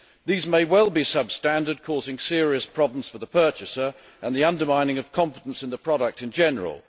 These may well be sub standard, causing serious problems for the purchaser and the undermining of confidence in the product in general.